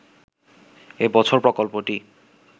এ বছর প্রকল্পটি